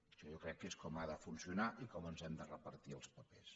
això jo crec que és com ha de funcionar i com ens hem de repartir els papers